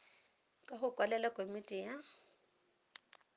ka go kwalela komiti ya